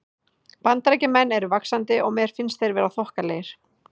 Bandaríkjamenn eru vaxandi og mér finnst þeir vera þokkalegir.